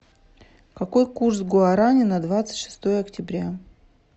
какой курс гуарани на двадцать шестое октября